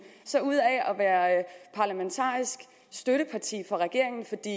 så ud af at være parlamentarisk støtteparti for regeringen for det